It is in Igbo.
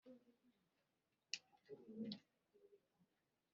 Ha agbaghi ya ọgwụ mgbochi na-afọ gara-aga.